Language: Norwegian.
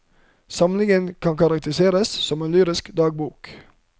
Samlingen kan karakteriseres som en lyrisk dagbok.